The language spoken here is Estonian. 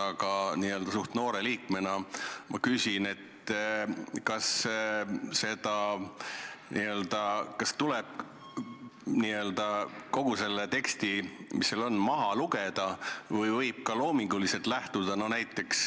Suhteliselt noore parlamendiliikmena ma küsin: kas tuleb kogu see tekst, mis protokollis on, maha lugeda või võib ka loominguliselt läheneda?